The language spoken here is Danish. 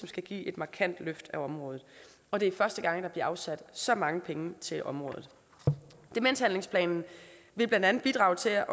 skal give et markant løft på området og det er første gang der bliver afsat så mange penge til det område demenshandlingsplanen vil blandt andet bidrage til